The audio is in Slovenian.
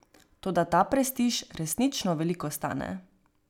Toda ta prestiž resnično veliko stane.